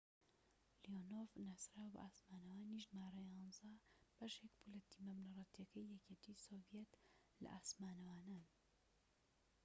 لیۆنۆڤ ناسراو بە ئاسمانەوانی ژمارە ١١ بەشێك بوو لە تیمە بنەڕەتیەکەی یەکێتی سۆڤیەت لە ئاسمانەوانان